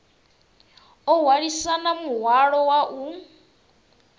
o hwalisana muhwalo wa u